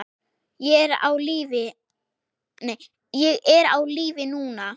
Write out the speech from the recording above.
Ég er á lífi núna.